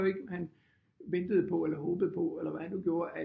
Jo ikke han ventede på eller håbede på eller hvad han nu gjorde at